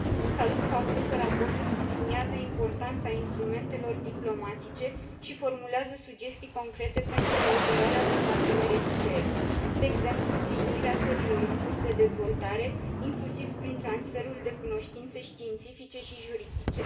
Salut faptul că raportul subliniază importanța instrumentelor diplomatice și formulează sugestii concrete pentru cooperarea cu parteneri externi, de exemplu sprijinirea țărilor în curs de dezvoltare, inclusiv prin transferul de cunoștințe științifice și juridice.